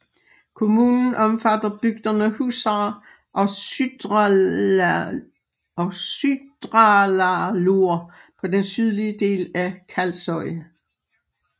Kommunen omfatter bygderne Húsar og Syðradalur på den sydlige del af Kalsoy